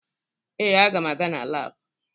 Ee, aga m aga na laabụ